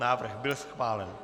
Návrh byl schválen.